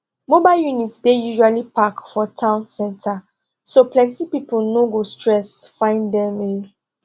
mobile units dey usually park for town center so plenty pipo no go stress find them um